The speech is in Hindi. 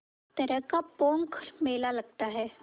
तरह का पोंख मेला लगता है